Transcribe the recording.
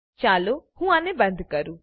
ચાલો હું આને બંધ કરું